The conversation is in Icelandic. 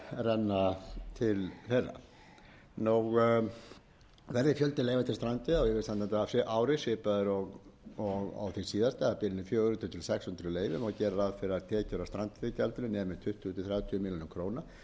renna til þeirra verð fjöldi leyfa til strandveiða á ári svipaður og því síðasta á bilinu fjögur hundruð sextíu til sex hundruð leyfi má gera ráð fyrir að tekjur af strandveiðigjaldinu nemi tuttugu til þrjátíu milljónir króna